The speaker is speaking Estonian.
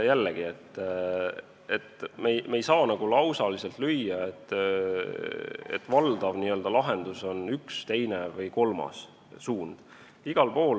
Jällegi, me ei saa öelda, et valdav lahendus on üks, teine või kolmas suund.